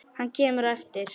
Hann kemur á eftir.